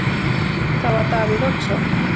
Það var Davíð Oddsson.